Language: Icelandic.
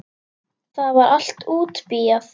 Það var allt útbíað.